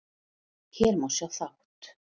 Hér má sjá þátt